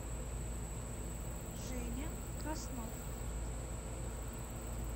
женя краснов